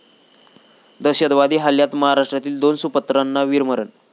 दहशतवादी हल्ल्यात महाराष्ट्रातील दोन सुपुत्रांना वीरमरण